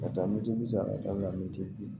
Ka taa mɛtiri bi saba ka taa mɛtiri bi